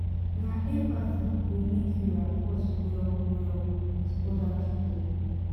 na empathy go make you rapport well-well wit oda pipo.